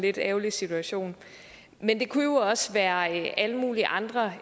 lidt ærgerlig situation men det kunne jo også være alle mulige andre